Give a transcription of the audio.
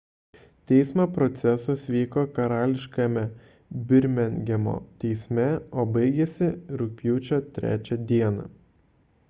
teismo procesas vyko karališkajame birmingemo teisme o baigėsi rugpjūčio 3 d